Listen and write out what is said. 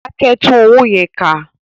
Dákẹ́! Tún owó yẹn kà.